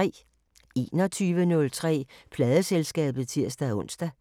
21:03: Pladeselskabet (tir-ons)